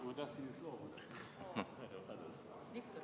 Ma tahtsin loobuda.